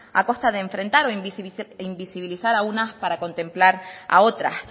a costa de enfrentar o invisibilizar a unas para contemplar a otras